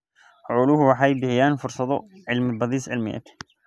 Xooluhu waxay bixiyaan fursado cilmi-baadhis cilmiyeed.